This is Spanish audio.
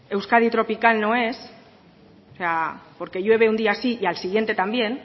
euskadi tropical no es o sea porque llueve un día sí y al siguiente también